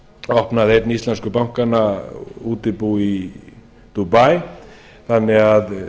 opnaði einn íslensku bankanna útibú í dubai þannig að